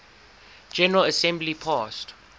general assembly passed